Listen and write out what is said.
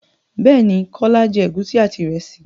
Bẹ́ẹ̀ ní, Kọ́lá jẹ́ ègúsí àti ìrẹsì.